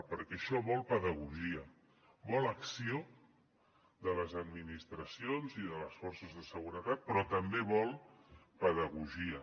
perquè això vol pedagogia vol acció de les administracions i de les forces de seguretat però també vol pedagogia